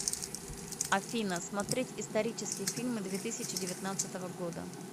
афина смотреть исторические фильмы две тысячи девятнадцатого года